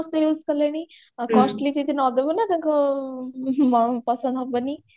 ସମସ୍ତେ use କଲେଣି ଆଉ costly ଯଦି ନ ଦବୁ ନା ତାଙ୍କୁ ପସନ୍ଦ ହବନି